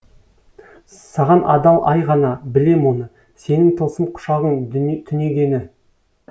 саған адал ай ғана білем оны сенің тылсым құшағың түнегені